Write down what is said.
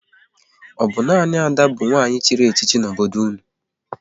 Ọ bụ nanị Ada bụ nwanyị chịrị echichi n'obodo unu?